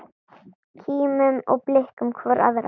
Kímum og blikkum hvor aðra.